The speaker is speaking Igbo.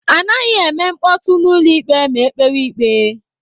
Anaghị eme mkpọtụ n'ụlọ ikpe ma ekpewe ikpe.